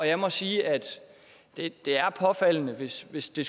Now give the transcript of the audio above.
jeg må sige at det er påfaldende hvis hvis det